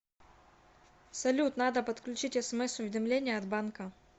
салют надо подключить смс уведомления от банка